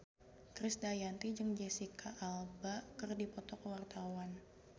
Krisdayanti jeung Jesicca Alba keur dipoto ku wartawan